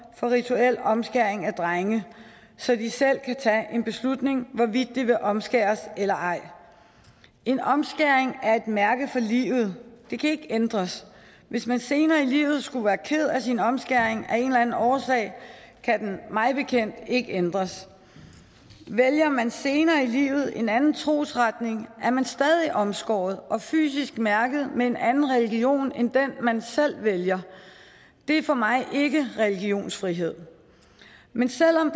for rituel omskæring af drenge så de selv kan tage en beslutning om hvorvidt de vil omskæres eller ej en omskæring er et mærke for livet det kan ikke ændres hvis man senere i livet skulle være ked af sin omskæring af en eller anden årsag kan den mig bekendt ikke ændres vælger man senere i livet en anden trosretning er man stadig omskåret og fysisk mærket med en anden religion end den man selv vælger det er for mig ikke religionsfrihed men selv om